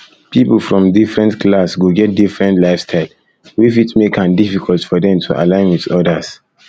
pipo from different class go get different lifestyle wey fit make am difficult for dem to align with odas